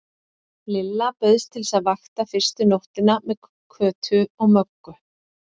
Lilla bauðst til að vaka fyrstu nóttina með Kötu og Möggu.